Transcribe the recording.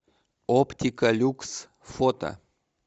оптика люкс фото